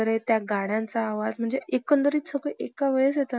अण्णा त्या वर्गाला गेले. इंग्रजीचा अभ्यास पूर्ण केला. आणि आणि मंग पुढं शिक्षणासाठी अण्णा,